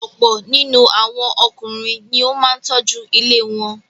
Ọ̀pọ̀ nínú àwọn Ọkùnrin ni ó máa ń tọ́jú ilé wọn.